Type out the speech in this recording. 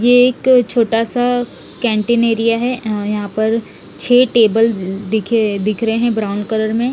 यह एक छोटा सा केंटिंग एरिया है अ यहाँ पर छे टेबल दिखे दिख रहे है ब्राउन कलर में--